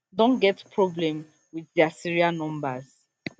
don get problem wit dia serial numbers